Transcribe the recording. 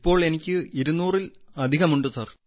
ഇപ്പോൾ എനിക്ക് 200 അധികം ഉണ്ട്